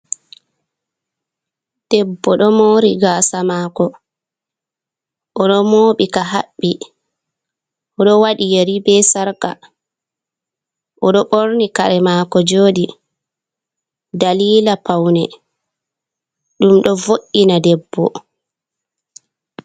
Debbo ɗo mori gasa mako oɗo mobi ka habbi oɗo waɗi yeri be sarka oɗo ɓorni kare mako joɗi dalila paune ɗum do vo’’ina debbo.